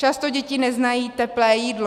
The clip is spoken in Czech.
Často děti neznají teplé jídlo.